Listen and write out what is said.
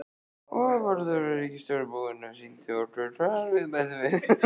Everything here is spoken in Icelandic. Vörður á ríkisbúinu sýndi okkur hvar við mættum tína.